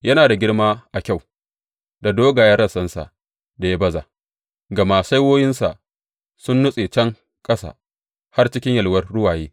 Yana da girma a kyau, da dogayen rassansa da ya baza, gama saiwoyinsa sun nutse can ƙasa har cikin yalwar ruwaye.